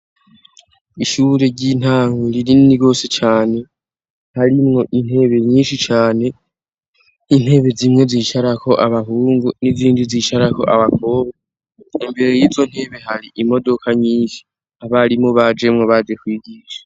ishure ry'intanwe ririni gose cane narimwo intebe nyinshi cyane nintebe zimwe zisharako abahungu n'izindi zishara ko abakoba imbere y'izo ntebe hari imodoka nyinshi abarimu bajemwo baze kwigisha